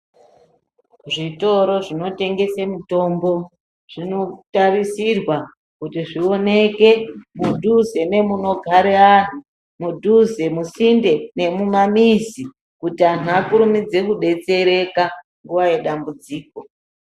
Zvitoro zvinotengesa mitombo zvinotarisirwa kuti zvioneke mudhuze nemunogara anthu ,mudhuze, musinde nemumamizi kuti anthu akurumidze kudetsereka nguwa yedambudziko.